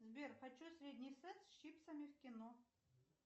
сбер хочу средний сет с чипсами в кино